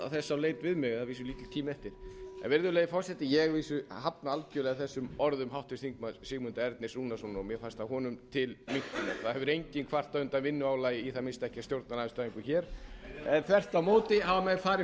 leit mig við að vísu er lítill tími eftir virðulegi forseti ég hafna algerlega þessum orðum háttvirts þingmanns sigmundar ernis rúnarssonar og mér fannst það honum til minnkunar það hefur enginn kvartað undan vinnuálagi í það minnsta enginn stjórnarandstæðingur en þvert á móti hafa menn fari